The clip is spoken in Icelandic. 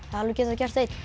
alveg getað gert það einn